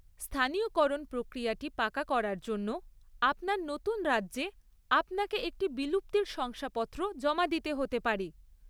স্থানীয়করণ প্রক্রিয়াটি পাকা করার জন্য আপনার নতুন রাজ্যে আপনাকে একটি বিলুপ্তির শংসাপত্র জমা দিতে হতে পারে।